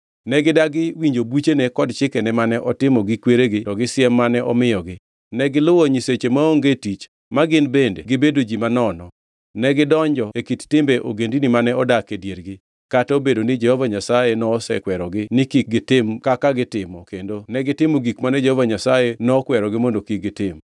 Ne gidagi winjo buchene kod chikene mane otimo gi kweregi to gi siem mane omiyogi, negiluwo nyiseche maonge tich, ma gin bende gibedo ji manono. Negidonjo e kit timbe ogendini mane odak e diergi, kata obedo ni Jehova Nyasaye nosekwerogi ni kik gitim kaka gitimo kendo negitimo gik mane Jehova Nyasaye nokwerogi mondo kik gitim.